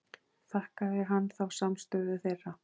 Þakkaði hann þá samstöðu þeirra.